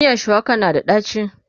miyan shuwakan na da daci